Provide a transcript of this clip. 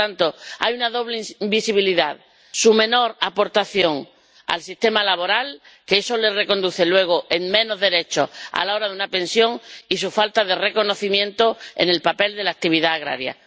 Por lo tanto, hay una doble invisibilidad su menor aportación al sistema laboral —que eso les lleva luego a tener menos derechos a la hora de una pensión— y su falta de reconocimiento en el papel de la actividad agraria.